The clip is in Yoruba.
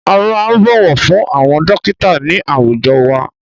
A máa ń bọ̀wọ̀ fún àwọn dọ́kítà ní àwùjọ wa.